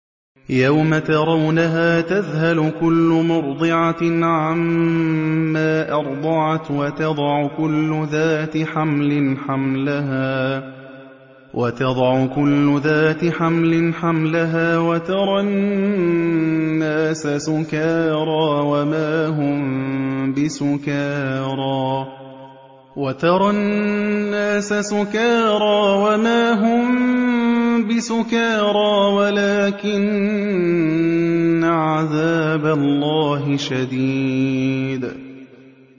يَوْمَ تَرَوْنَهَا تَذْهَلُ كُلُّ مُرْضِعَةٍ عَمَّا أَرْضَعَتْ وَتَضَعُ كُلُّ ذَاتِ حَمْلٍ حَمْلَهَا وَتَرَى النَّاسَ سُكَارَىٰ وَمَا هُم بِسُكَارَىٰ وَلَٰكِنَّ عَذَابَ اللَّهِ شَدِيدٌ